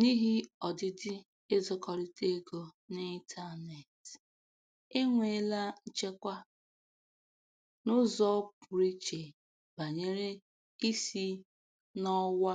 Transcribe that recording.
N'ihi ọdịdị ịzụkọrịta ego n'ịntaneetị, enweela nchekwa n'ụzọ pụrụ iche banyere isi n'ọwa